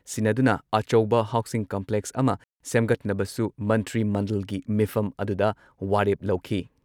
ꯁꯤꯟꯅꯗꯨꯅ ꯑꯆꯧꯕ housing complex ꯑꯃ ꯁꯦꯝꯒꯠꯅꯕꯁꯨ ꯃꯟꯇ꯭ꯔꯤ ꯃꯟꯗꯜꯒꯤ ꯃꯤꯐꯝ ꯑꯗꯨꯗ ꯋꯥꯔꯦꯞ ꯂꯧꯈꯤ ꯫